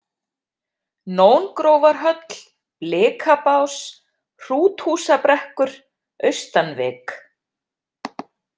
Nóngrófarhöll, Blikabás, Hrúthúsabrekkur, Austanvik